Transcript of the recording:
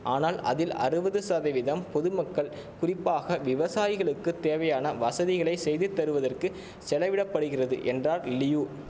ஆனால் அதில் அறுவது சதவீதம் பொதுமக்கள் குறிப்பாக விவசாயிகளுக்குத் தேவையான வசதிகளை செய்து தருவதற்கு செலவிட படுகிறது என்றார் லியு